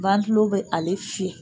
Wantilo be ale fiyɛ